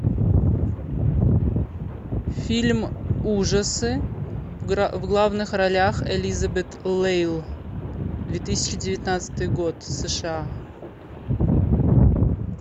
фильм ужасы в главных ролях элизабет лейл две тысячи девятнадцатый год сша